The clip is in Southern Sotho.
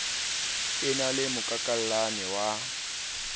e na le mokakallane wa